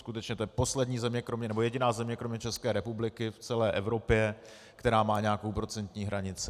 Skutečně to je poslední země, nebo jediná země kromě České republiky v celé Evropě, která má nějakou procentní hranici.